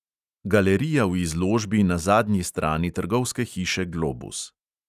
Galerija v izložbi na zadnji strani trgovske hiše globus.